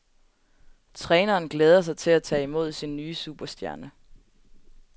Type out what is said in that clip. Træneren glæder sig til at tage imod sin nye superstjerne.